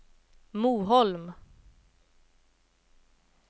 Moholm